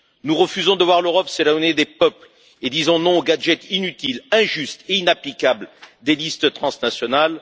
Nous refusons de voir l'Europe s'éloigner des peuples et disons non au gadget inutile, injuste et inapplicable des listes transnationales.